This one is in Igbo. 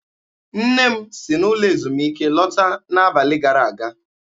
Nne m si n'ụlọ ezumike lọta n'abalị gara aga.